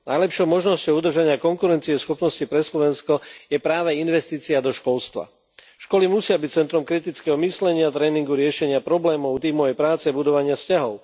Najlepšou možnosťou udržania konkurencieschopnosti pre Slovensko je práve investícia do školstva. Školy musia byť centrom kritického myslenia, tréningu, riešenia problémov, tímovej práce, budovania vzťahov.